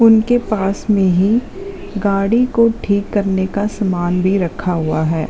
उनके पास मैं ही गाड़ी को ठीक करने का समान भी रखा हुआ है।